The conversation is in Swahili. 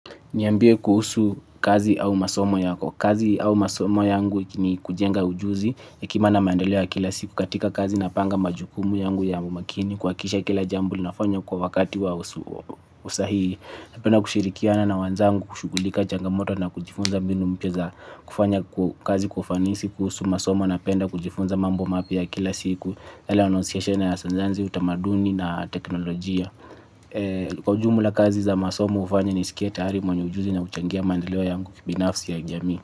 Niambie kuhusu kazi au masomo yako. Kazi au masomo yangu ni kujenga ujuzi ya kimaana maandeleo ya kila siku katika kazi napanga majukumu yangu ya umakini kuhakikisha kila jambo nafanya kwa wakati wa usahihi. Napenda kushirikiana na wanzangu kushughulika changamoto na kujifunza mbinu mpya za kufanya kazi kwa ufanisi kuhusu masomo napenda kujifunza mambo mapya kila siku. Hela anonsiyeshena ya senzanzi utamaduni na teknolojia. Kwa ujumu la kazi za masomu ufanya ni sikieta harimu Mwanyu ujuzi na uchangia mandlewa yangu kibinafsi ya jami.